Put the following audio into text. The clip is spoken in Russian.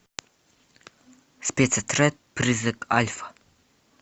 спецотряд призрак альфа